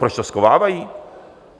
Proč to schovávají?